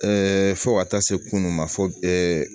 fo ka taa se kunun ma fɔ